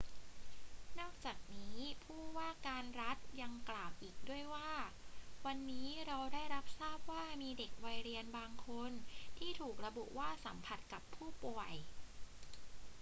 นอกจากนี้ ผู้ว่าการรัฐยังกล่าวอีกด้วยว่า วันนี้เราได้รับทราบว่ามีเด็กวัยเรียนบางคนที่ถูกระบุว่าสัมผัสกับผู้ป่วย